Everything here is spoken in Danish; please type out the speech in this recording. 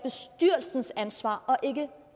jeg synes ansvar og ikke